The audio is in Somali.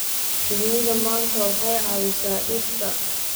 Shinnida manka waxay caawisaa dhirta.